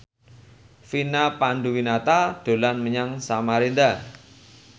Vina Panduwinata dolan menyang Samarinda